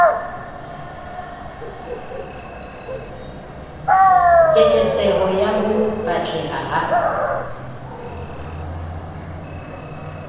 keketseho ya ho batleha ha